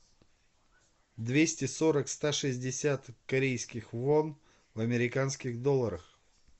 двести сорок ста шестьдесят корейских вон в американских долларах